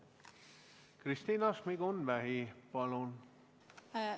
Kristina Šmigun-Vähi palun!